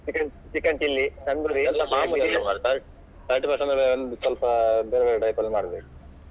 Chicken chicken chilly ಸ್ವಲ್ಪ ಬೇರೆ type ಅಲ್ಲಿ ಮಾಡ್ಬೇಕು.